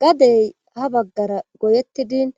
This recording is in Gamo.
gadey ha baggara goyettidin